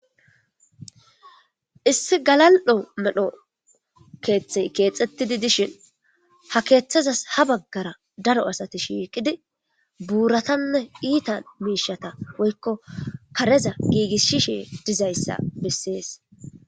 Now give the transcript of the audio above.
Issi galallo' medho kathi kexethidi disjin ha kethazas ha bagara daro assathi shiqidi burathane itta mishathaw woykko karetha gigisishe dizayssa besses.